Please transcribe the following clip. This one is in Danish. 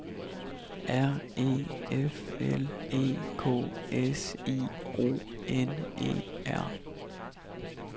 R E F L E K S I O N E R